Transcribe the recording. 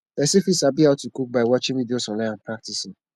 persin fit sabi how to cook by watching videos online and practicing